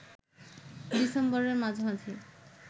ডিসেম্বরের মাঝামাঝি